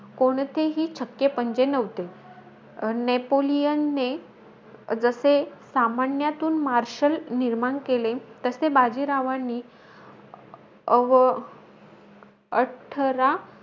कोणतेही छक्के पंजे नव्हते. अं नेपोलियनने जसे सामान्यातून marshal निर्माण केले तसे बाजीरावांनी अं अठरा,